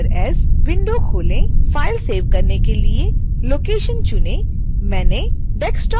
file save करने के लिए लोकेशन चुनें मैंने desktop चुना है